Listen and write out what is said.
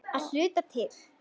Að hluta til.